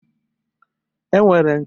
E nwere nke bụ naanị azụ